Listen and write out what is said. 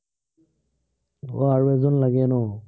আহ আৰু এজন লাগে ন?